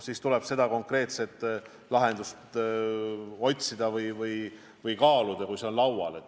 Eks tuleb konkreetset lahendust otsida ja kaaluda, kui see töö on laual.